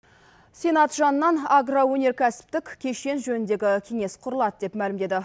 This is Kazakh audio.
сенат жанынан агроөнеркәсіптік кешен жөніндегі кеңес құрылады деп мәлімдеді